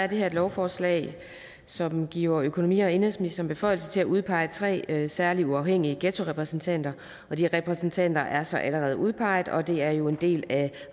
her et lovforslag som giver økonomi og indenrigsministeren beføjelse til at udpege tre særlige uafhængige ghettorepræsentanter de repræsentanter er så allerede udpeget og det er jo en del af